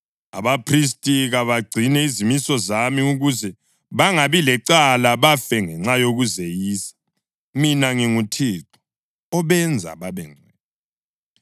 Abaphristi kabagcine izimiso zami ukuze bangabi lecala bafe ngenxa yokuzeyisa. Mina nginguThixo obenza babengcwele.